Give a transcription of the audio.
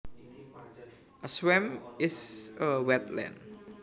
A swamp is a wetland